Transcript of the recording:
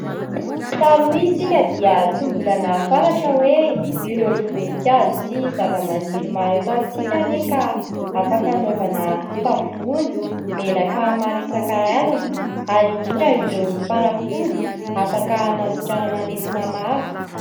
Taloha isika dia tsy mbola nahafantatra hoe : ireo voninkazo sy zava-maniry maro eto amintsika anie ka afaka hanaovana savony, menaka maro isankarazany ary indrindra ireo fanafody afaka hanasitranana aretina maro.